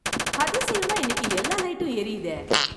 அதிசயமா இன்னைக்கு எல்லா லைட்டும் எரியுதே